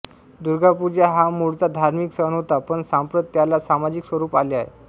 दुर्गापूजा हा मूळचा धार्मिक सण होता पण सांप्रत त्याला सामाजिक स्वरूप आले आहे